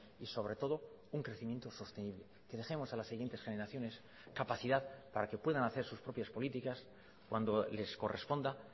y sobre todo un crecimiento sostenible que dejemos a las siguientes generaciones capacidad para que puedan hacer sus propias políticas cuando les corresponda